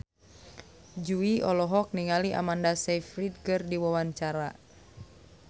Jui olohok ningali Amanda Sayfried keur diwawancara